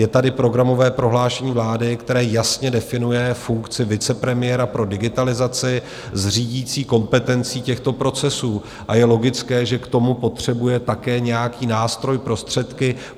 Je tady programové prohlášení vlády, které jasně definuje funkci vicepremiéra pro digitalizaci s řídící kompetencí těchto procesů, a je logické, že k tomu potřebuje také nějaký nástroj, prostředky.